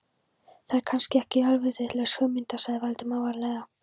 Það er kannski ekki alvitlaus hugmynd sagði Valdimar varlega.